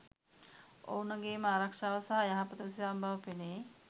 ඔවුනගේම ආරක්‍ෂාව සහ යහපත උදෙසාම බව පෙනේ.